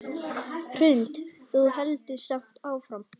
Hrund: Þú heldur samt áfram?